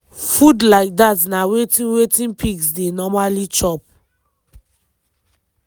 food like dat na wetin wetin pigs dey normally chop.